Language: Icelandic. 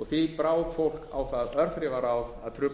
og því brá fólk á það örþrifaráð að trufla